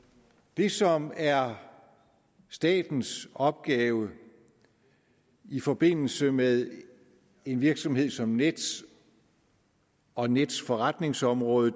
det som er statens opgave i forbindelse med en virksomhed som nets og nets forretningsområde